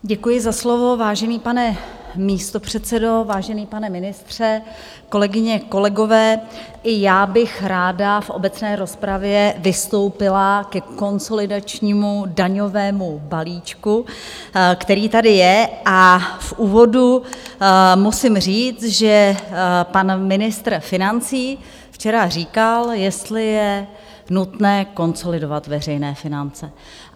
Děkuji za slovo, vážený pane místopředsedo, vážený pane ministře, kolegyně, kolegové, i já bych ráda v obecné rozpravě vystoupila ke konsolidačnímu daňovému balíčku, který tady je a v úvodu musím říct, že pan ministr financí včera říkal, jestli je nutné konsolidovat veřejné finance.